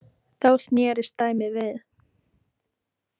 Þá snerist dæmið við.